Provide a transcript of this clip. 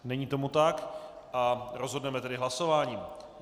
Není tomu tak a rozhodneme tedy hlasováním.